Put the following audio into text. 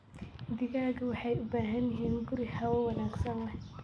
Digaagga waxay u baahan yihiin guri hawo wanaagsan leh.